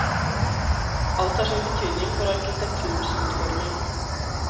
Alt har sin betydning for arkitekturens utforming.